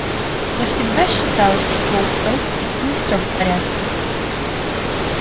я всегда считал что у фэтти не всё в порядке